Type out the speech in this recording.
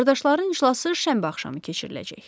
Qardaşların iclası şənbə axşamı keçiriləcək.